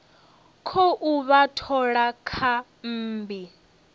khou vha thola kha mmbi